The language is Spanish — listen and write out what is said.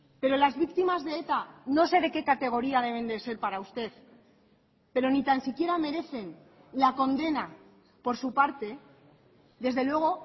pero las víctimas de eta no sé de qué categoría deben de ser para usted pero ni tan siquiera merecen la condena por su parte desde luego